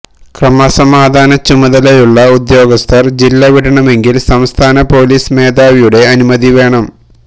ക്രമസമാധാനച്ചുമതലയുള്ള ഉദ്യോഗസ്ഥര് ജില്ല വിടണമെങ്കില് സംസ്ഥാന പൊലീസ് മേധാവിയുടെ അനുമതി വേണം